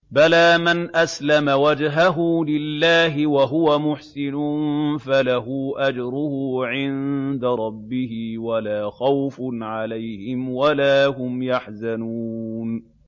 بَلَىٰ مَنْ أَسْلَمَ وَجْهَهُ لِلَّهِ وَهُوَ مُحْسِنٌ فَلَهُ أَجْرُهُ عِندَ رَبِّهِ وَلَا خَوْفٌ عَلَيْهِمْ وَلَا هُمْ يَحْزَنُونَ